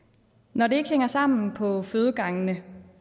når det ikke hænger sammen på fødegangene